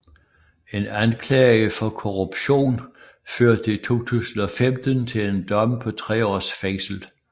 En anklage for korruption førte i 2015 til en dom på tre års fængsel